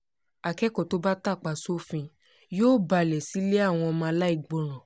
akẹ́kọ̀ọ́ tó bá tapá sófin yóò balẹ̀ sílé àwọn ọmọ aláìgbọràn